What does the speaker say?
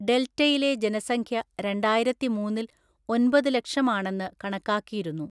ഡെൽറ്റയിലെ ജനസംഖ്യ രണ്ടായിരത്തിമൂന്നില്‍ ഒന്‍പതുലക്ഷം ആണെന്ന് കണക്കാക്കിയിരുന്നു.